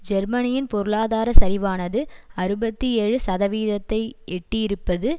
ஜெர்மனியின் பொருளாதார சரிவானது அறுபத்தி ஏழு சதவீதத்தை எட்டிஇருப்பது